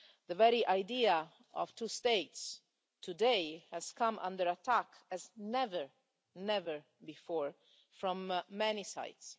The very idea of two states today has come under attack as never before from many sides.